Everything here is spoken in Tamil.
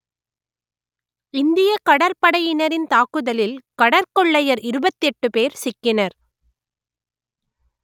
இந்தியக் கடற்படையினரின் தாக்குதலில் கடற்கொள்ளையர் இருபத்தி எட்டு பேர் சிக்கினர்